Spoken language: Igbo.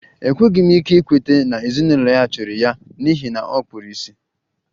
Enweghị m ike ikweta na ezinụlọ ya jụrụ ya n'ihi na ọ kpuru ìsì